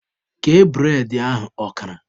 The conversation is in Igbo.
Kee bụredị ahụ ọkara!